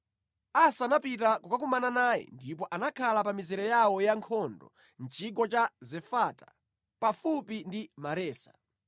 Asa anapita kukakumana naye ndipo anakhala pa mizere yawo ya nkhondo mʼchigwa cha Zefata pafupi ndi Maresa.